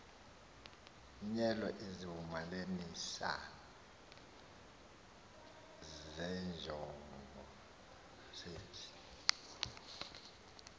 nyelwa izivumelanisi zenjongosenzi